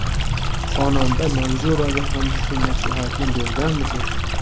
Xonanda Manzuraga ham shu maslahatni berganmisiz ?